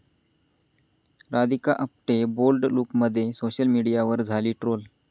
Radhika Apte bold लूकमध्ये, social मीडियावर झाली ट्रोल